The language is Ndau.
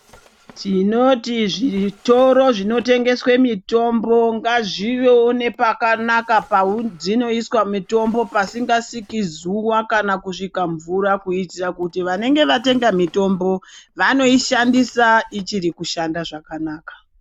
Tinoti zvitoro zvino tengeswe mitombo ngazviwewo zvine pakanaka padzinoiswa mitombo pasinga sviki zuva kana kusvika mvura kuitira kuti vanenge vatenga mutombo vanoi shandisa ichiri kushanda zvakanaka.